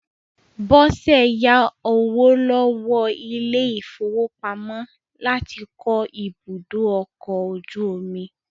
Bọ́sẹ̀ yá owó lọ́wọ́ ilé-ìfowópamọ́ láti kọ́ ibùdókọ̀-ojú-omi.